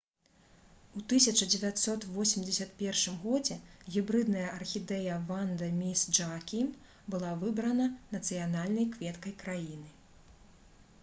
у 1981 годзе гібрыдная архідэя «ванда міс джаакім» была выбрана нацыянальнай кветкай краіны